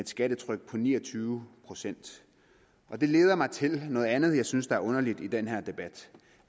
skattetryk på ni og tyve procent det leder mig til noget andet jeg synes er underligt i den her debat